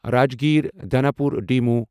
Rajgir Danapur MEMU